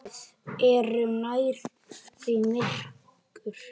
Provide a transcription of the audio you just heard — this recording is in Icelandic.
Við erum nærri því myrkur